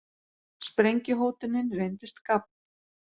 Sprengjuhótunin reyndist gabb